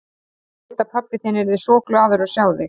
Ég veit að pabbi þinn yrði svo glaður að sjá þig.